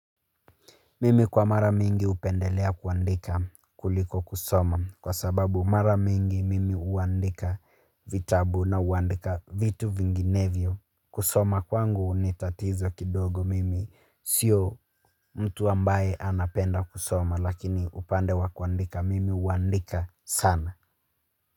Mimi kwa mara mingi upendelea kuandika kuliko kusoma kwa sababu mara mingi mimi uandika vitabu na uandika vitu vinginevyo. Kusoma kwangu unitatiza kidogo mimi sio mtu ambaye anapenda kusoma lakini upande wa kuandika mimi uandika sana.